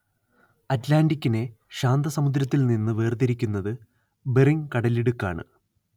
അറ്റ്‌ലാന്റിക്കിനെ ശാന്തസമുദ്രത്തിൽനിന്നു വേർതിരിക്കുന്നതു ബെറിങ് കടലിടുക്കാണ്